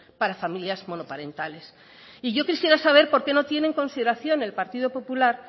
para familias monoparentales y yo quisiera saber por qué no tiene consideración el partido popular